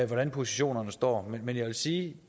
hvordan positionerne står men jeg vil sige